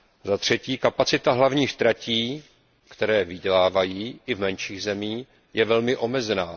Za třetí kapacita hlavních tratí, které vydělávají i v menších zemích, je velmi omezená.